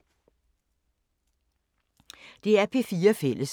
DR P4 Fælles